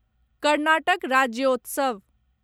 Karnataka Rajyotsav